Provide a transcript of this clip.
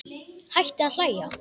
Hætti að hlæja.